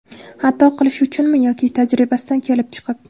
Xato qilishi uchunmi yoki tajribasidan kelib chiqib?